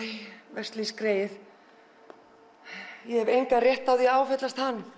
veslings greyið ég hef engan rétt á því að áfellast hann